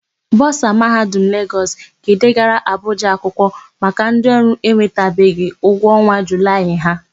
Bọsa Mahadum Legọs. ga-edegara Abụja akwụkwọ maka ndịọrụ enwetabeghị ụgwọ ọnwa Julaị ha.